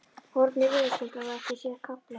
Hornið verðskuldar það ekki sér kafla?